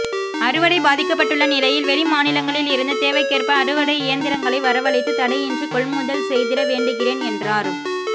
அறுவடை பாதிக்கப்பட்டுள்ள நிலையில் வெளி மாநிலங்களில் இருந்து தேவைக்கேற்ப அறுவடை இயந்திரங்களை வரவழைத்து தடையின்றி கொள்முதல் செய்திட வேண்டுகிறேன் என்றார்